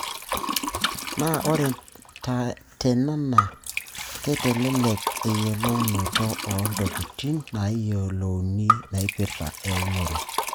Naa ore tena naa keitelelek eyiolounoto oo ntokitin naayiolouni naipirta eunore.